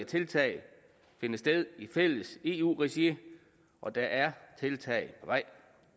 tiltag finde sted i fælles eu regi og der er tiltag på vej